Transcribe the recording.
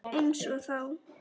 Einsog þá.